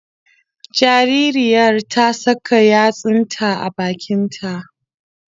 Jaririyar ta saka yatsunta a bakin ta